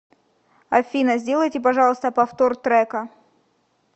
афина сделайте пожалуйста повтор трека